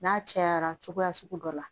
N'a cayara cogoya sugu dɔ la